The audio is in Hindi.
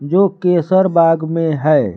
जो केसर बाग में है।